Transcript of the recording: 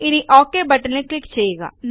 ഇനി ഒക് ബട്ടണിൽ ക്ലിക്ക് ചെയ്യുക